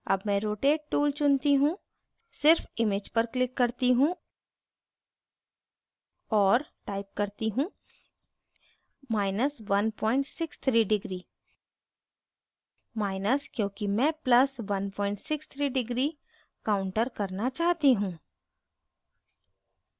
अब मैं rotate tool चुनती हूँ सिर्फ image पर click करती हूँ और type करती हूँ163° माइनस क्योंकि मैं plus 163° counter करना चाहती हूँ